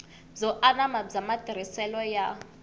byo anama bya matirhiselo ya